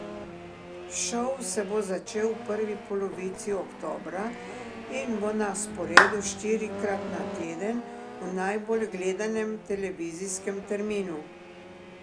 Šov se bo začel v prvi polovici oktobra in bo na sporedu štirikrat na teden, v najbolj gledanem televizijskem terminu.